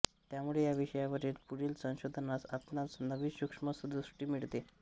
त्यामुळे या विषयावरील पुढील संशोधनास आपणास नवी सूक्ष्म दृष्टी मिळते